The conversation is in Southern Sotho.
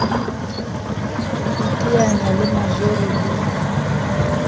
ho iteanya le majoro le